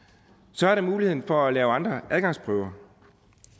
så er der muligheden for at lave andre adgangsprøver